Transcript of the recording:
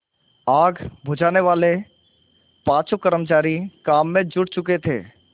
आग बुझानेवाले पाँचों कर्मचारी काम में जुट चुके थे